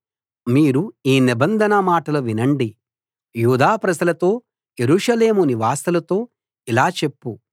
మీరు ఈ నిబంధన మాటలు వినండి యూదా ప్రజలతో యెరూషలేము నివాసులతో ఇలా చెప్పు